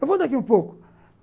Eu vou daqui um pouco.